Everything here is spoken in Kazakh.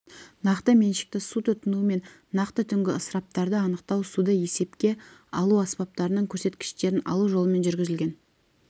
нақты меншікті су тұтыну мен нақты түнгі ысыраптарды анықтау суды есепке алу аспаптарының көрсеткіштерін алу жолымен жүргізілген